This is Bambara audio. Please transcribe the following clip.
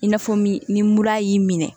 I n'a fɔ min ni mura y'i minɛ